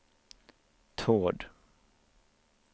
Tord